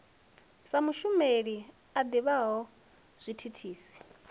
sa mushumeli a ḓivhaho zwithithisi